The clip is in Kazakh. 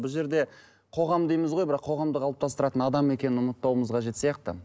бұл жерде қоғам дейміз ғой бірақ қоғамды қалыптастыратын адам екенін ұмытпауымыз қажет сияқты